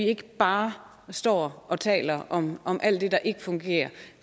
ikke bare står og taler om om alt det der ikke fungerer